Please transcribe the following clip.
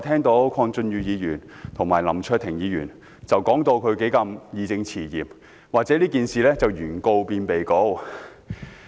剛才鄺俊宇議員和林卓廷議員說得義正詞嚴，批評議案把事件中的原告變成被告。